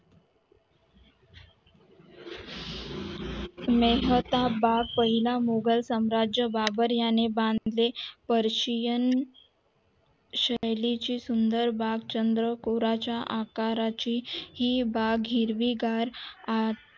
मेहता बाग पहिला मुघल सम्राट बाबर याने बांधलेली पर पर्शियन शैलीची सुंदर बाग चंद्रकोरेच्या आका अकराची हि बाग हिरवी गार